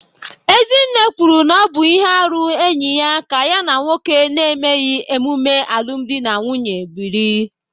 Ezinne kwuru na ọ bụ ihe arụ enyi ya ka ya na nwoke na-emeghị ememe alụmdi na nwunye biri